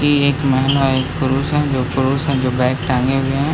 Bag टांगे हुए हैं।